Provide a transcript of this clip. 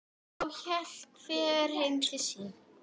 Þá hélt hver heim til sín.